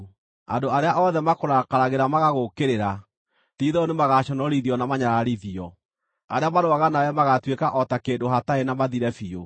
“Andũ arĩa othe makũrakaragĩra magagũũkĩrĩra ti-itherũ nĩmagaconorithio na manyararithio; arĩa marũaga nawe magaatuĩka o ta kĩndũ hatarĩ na mathire biũ.